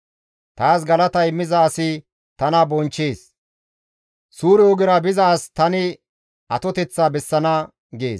Taas galata immiza asi tana bonchchees. Suure ogera biza as tani atoteththaa bessana» gees.